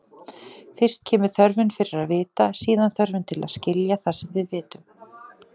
Fyrst kemur þörfin fyrir að vita, síðan þörfin til að skilja það sem við vitum.